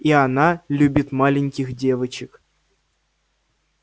и она любит маленьких девочек